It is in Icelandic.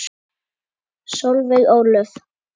Solveig Ólöf.